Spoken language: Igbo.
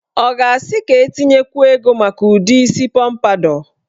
Ọ ga-asị ka etinyekwuo ego maka udi isi pọmpadọ?